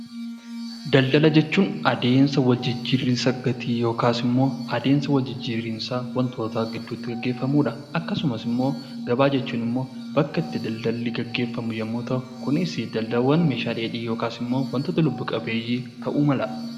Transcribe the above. Daldala jechuun adeemsa wal jijjiiraa gatii yookaan immoo adeemsa wal jijjiiraa gaggeeffamuudha akkasumas immoo gabaa jechuun bakka itti daldalli gaggeeffamu yemmuu ta'u, kunis immoo Meeshaalee dheedhii fi waantota lubbu qabeeyyii ta'uu mala.